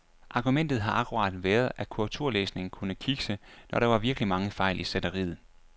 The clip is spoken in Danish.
Argumentet har akkurat været, at korrekturlæsningen kunne kikse, når der var virkelig mange fejl i sætteriet.